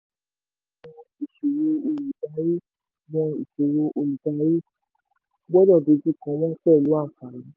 mọ ìṣòro olùdarí gbọ́dọ̀ dojú kọ wọ́n pẹ̀lú àǹfààní.